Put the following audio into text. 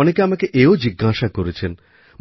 অনেকে আমাকে এও জিজ্ঞাসা করেছেন